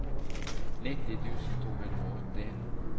nitti tusen to hundre og åtti